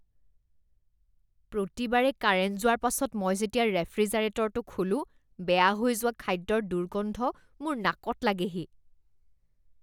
প্ৰতিবাৰে কাৰেণ্ট যোৱাৰ পাছত মই যেতিয়া ৰেফ্ৰিজাৰেটৰটো খোলো, বেয়া হৈ যোৱা খাদ্যৰ দুৰ্গন্ধ মোৰ নাকত লাগেহি